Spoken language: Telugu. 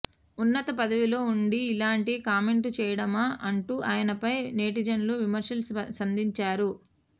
ఉన్నత పదవిలో ఉండి ఇలాంటి కామెంట్లు చేయడమా అంటూ ఆయనపై నెటిజన్లు విమర్శలు సంధించారు